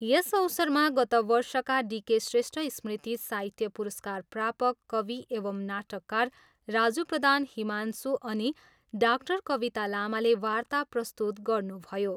यस अवसरमा गत वर्षका डी के श्रेष्ठ स्मृति साहित्य पुरस्कार प्रापक कवि एवम् नाटककार राजू प्रधान 'हिमांशु' अनि डाक्टर कविता लामाले वार्ता प्रस्तुत गर्नुभयो।